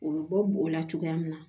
U bɛ bɔ bo la cogoya min na